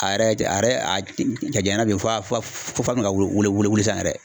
A yɛrɛ a yɛrɛ jaɲana f'a be ka wolo sisan yɛrɛ.